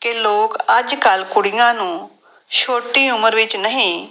ਕਿ ਲੋਕ ਅੱਜ ਕੱਲ੍ਹ ਕੁੜੀਆਂ ਨੂੰ ਛੋਟੀ ਉਮਰ ਵਿੱਚ ਨਹੀਂ